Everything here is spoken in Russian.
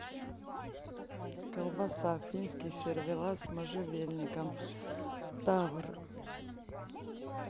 колбаса финский сервелат с можжевельником тавр